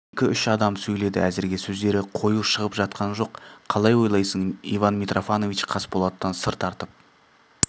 екі-үш адам сөйледі әзірге сөздері қою шығып жатқан жоқ қалай ойлайсың иван митрофанович қасболаттан сыр тартып